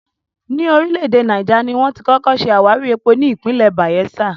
Ní orílẹ̀ èdè Náíjà, ni wón ti kọ́kọ́ ṣe àwárí epo ní ìpínlẹ̀ Bàyẹ́sà